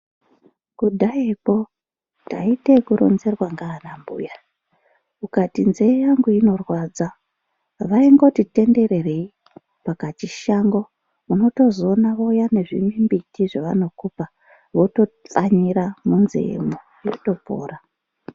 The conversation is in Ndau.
Kudhayako taite yekuronzerwa nanambuya ukati nzeye yangu inorwadza vaindoti tenderere pakachishango unotozoona vouya nezvimimbiti zvavanokupa votapfanyira munzeyemwo yotopora.